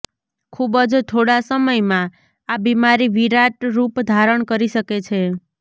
ખુબ જ થોડા સમયમાં આ બીમારી વિરાટ રૂપ ધારણ કરી શકે છે